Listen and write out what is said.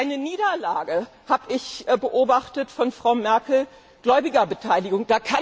Eine Niederlage habe ich beobachtet von Frau Merkel Gläubigerbeteiligung.